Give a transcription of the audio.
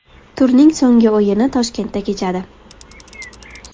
Turning so‘nggi o‘yini Toshkentda kechadi.